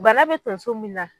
Bana be tonso min na